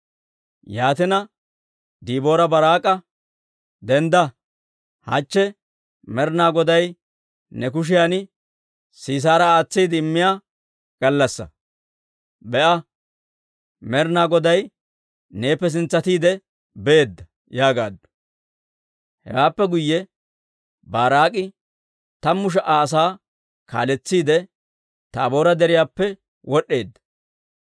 Yaatina, Diboora Baaraak'a, «Dendda! Hachche Med'inaa Goday ne kushiyan Sisaara aatsiide immiyaa gallassaa. Be'a, Med'inaa Goday neeppe sintsatiide beedda» yaagaaddu. Hewaappe guyye Baaraak'i tammu sha"a asaa kaaletsiide, Taaboora Deriyaappe wod'd'eedda.